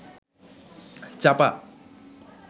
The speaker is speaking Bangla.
চাপা